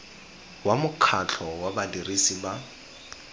wa mokgatlho wa badirisi ba